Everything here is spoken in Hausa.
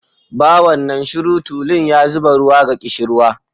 Bawan nan shiru, tulun ya zuba ruwa, ga ƙishirwa.